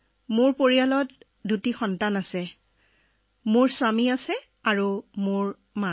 sir মোৰ পৰিয়ালত দুটা লৰাছোৱালী আছে মই মোৰ স্বামী আৰু মোৰ মা